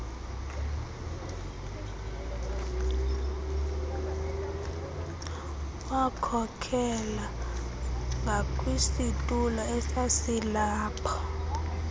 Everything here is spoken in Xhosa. wakhokela ngakwisitulo esasilapho